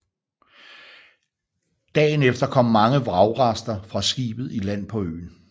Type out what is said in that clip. Dagen efter kom mange vragrester fra skibet i land på øen